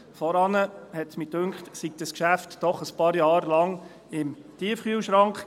Vorher schien mir, war das Geschäft doch ein paar Jahre lang im Tiefkühlschrank.